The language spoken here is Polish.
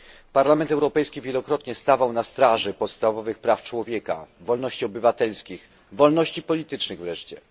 Parlament Europejski wielokrotnie stawał na straży podstawowych praw człowieka, wolności obywatelskich, wolności politycznych wreszcie.